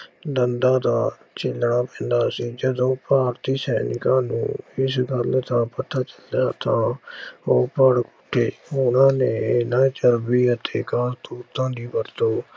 ਦੰਦਾਂ ਦਾ ਛਿਲਣਾ ਪੈਂਦਾ ਸੀ ਜਦੋਂ ਭਾਰਤੀ ਸੈਨਿਕਾਂ ਨੂੰ ਇਸ ਗੱਲ ਦਾ ਪਤਾ ਚੱਲਿਆ ਤਾਂ ਉਹ ਭੜਕ ਕੇ ਉਹਨਾਂ ਨੇ ਇਹਨਾਂ ਚਰਬੀ ਅਤੇ ਕਾਰਤੂਸਾਂ ਦੀ ਵਰਤੋਂ